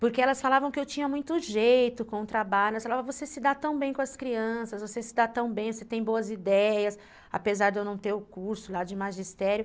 Porque elas falavam que eu tinha muito jeito com o trabalho, elas falavam, você se dá tão bem com as crianças, você se dá tão bem, você tem boas ideias, apesar de eu não ter o curso lá de magistério.